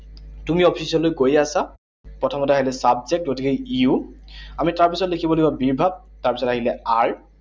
তুমি অফিচলৈ গৈ আছা। প্ৰথমতে আহিলে subject, গতিকে you, আমি তাৰপিছত লিখিব লাগিব be verb, তাৰপিছত আহিলে are,